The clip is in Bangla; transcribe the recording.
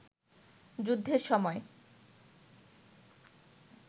যুদ্ধের সময়